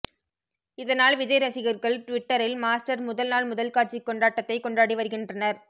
இதனால் விஜய் ரசிகர்கள் டுவிட்டரில் மாஸ்டர் முதல் நாள் முதல் காட்சி கொண்டாட்டத்தைக் கொண்டாடி வருகின்றனர்